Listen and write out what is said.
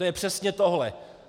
To je přesně tohle.